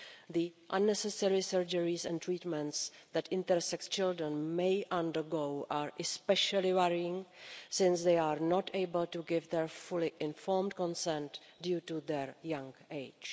The unnecessary surgical operations and treatments that intersex children may undergo are especially worrying since they are not able to give their fully informed consent due to their young age.